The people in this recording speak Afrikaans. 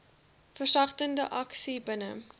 versagtende aksies binne